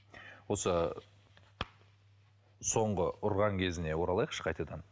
осы соңғы ұрған кезіне оралайықшы қайтадан